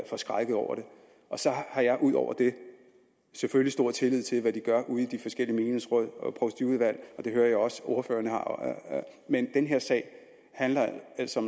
forskrækket over det jeg har ud over det selvfølgelig stor tillid til hvad de gør ude i de forskellige menighedsråd og provstiudvalg og det hører jeg også at ordføreren har men den her sag handler altså